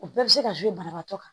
O bɛɛ bɛ se ka banabaatɔ kan